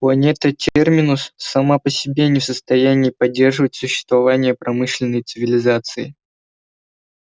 планета терминус сама по себе не в состоянии поддерживать существование промышленной цивилизации